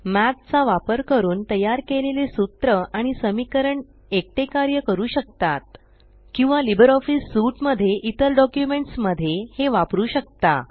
मठ चा वापर करून तयार केलेले सूत्र आणि समीकरण एकटे कार्य करू शकतात किंवा लिबर ऑफीस सूट मध्ये इतर डॉक्युमेंट्स मध्ये हे वपरू शकता